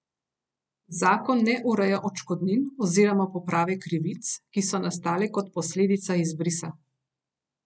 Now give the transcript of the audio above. Zakon ne ureja odškodnin oziroma poprave krivic, ki so nastale kot posledica izbrisa.